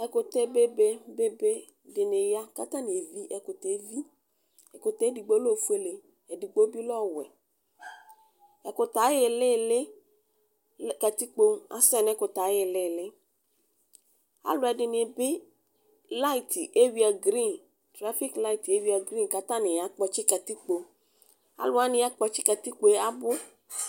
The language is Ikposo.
Ɛkʋtɛ bebe bebe dini ya kʋ atani evi ɛkʋɛ edigbo lɛ ofʋele edigbi bi lɛ ɔwɛ ɛkʋtɛ ayʋ ilili katikpo asɛ alʋ ɛdini bi trfik layti ewuia grin kʋ atani ya kpɔtsi katikpo alʋ wani yakpɔtsi katikpo yɛ abʋ